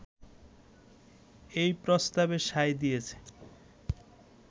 এই প্রস্তাবে সায় দিয়েছে